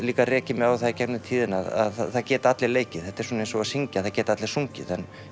líka rekið mig á það í gegnum tíðina að það geta allir leikið þetta er svona eins og að syngja það geta allir sungið en